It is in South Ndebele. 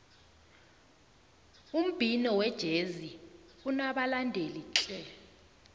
umbhino wejezi unabalandeli tle